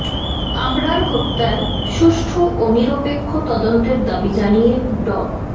আবরার হত্যার সুষ্ঠু ও নিরপেক্ষ তদন্তের দাবি জানিয়ে ড